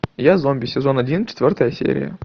я зомби сезон один четвертая серия